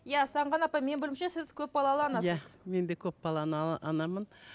иә сағынған апай менің білуімше сіз көпбалалы анасыз иә мен де көпбалалы анамын